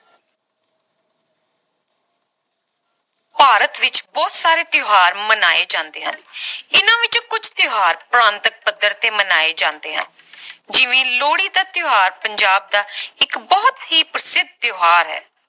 ਭਾਰਤ ਵਿਚ ਬਹੁਤ ਸਾਰੇ ਤਿਓਹਾਰ ਮਨਾਏ ਜਾਂਦੇ ਹਨ ਇੰਨਾ ਵਿਚੋਂ ਕੁਛ ਤਿਓਹਾਰ ਪ੍ਰਾਂਤਕ ਪੱਧਰ ਤੇ ਮਨਾਏ ਜਾਂਦੇ ਹੈ ਜਿਵੇਂ ਲੋਹੜੀ ਦਾ ਤਿਓਹਾਰ ਪੰਜਾਬ ਦਾ ਇਕ ਬਹੁਤ ਹੀ ਪ੍ਰਸਿੱਧ ਤਿਓਹਾਰ ਹੈ